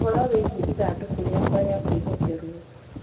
ũhoro wĩgiĩ ithandũkũ rĩakwa rĩa kwĩhokerũo